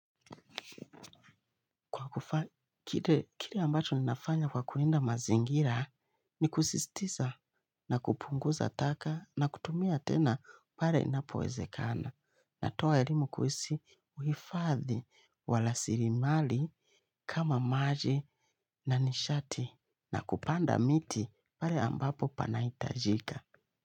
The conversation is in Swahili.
Kile ambacho ninafanya kwa kulinda mazingira ni kusistiza na kupunguza taka na kutumia tena pare inapowezekana. Na toa elimu kuhusu uhifadhi warasilimali kama maji na nishati na kupanda miti pale ambapo panahitajika.